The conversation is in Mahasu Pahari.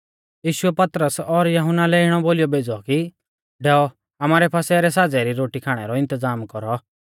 यीशुऐ पतरस और यहुन्ना इणै बोलीयौ भेज़ै कि डैऔ आमारै फसह रै साज़ै री रोटी खाणै रौ इन्तज़ाम कौरौ